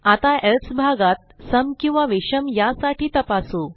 आता एल्से भागात सम किंवा विषम यासाठी तपासू